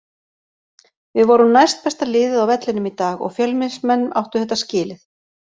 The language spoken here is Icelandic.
Við vorum næstbesta liðið á vellinum í dag og Fjölnismenn áttu þetta skilið.